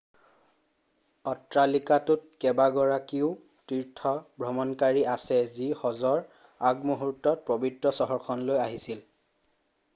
অট্ৰালিকাটোত কেইবাগৰাকীও তীৰ্থভ্ৰমণকাৰী আছে যি হজৰ আগমুহূ্ৰ্তত পবিত্ৰ চহৰখনলৈ আহিছিল